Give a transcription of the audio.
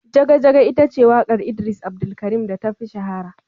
Jaga Jaga ita ce wakar idris Abdulkarim da ta fi shahara.